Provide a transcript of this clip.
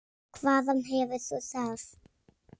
Hvaðan hefur þú það?